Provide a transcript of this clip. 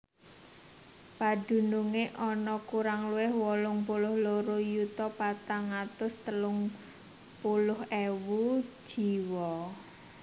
Padunungé ana kurang luwih wolung puluh loro yuta patang atus telung puluh wolu ewu jiwa